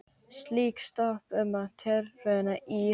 Slík stöð var sett upp í tilraunaskyni í